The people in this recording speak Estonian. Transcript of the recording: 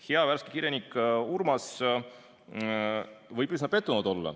Hea värske kirjanik Urmas võib olla üsna pettunud.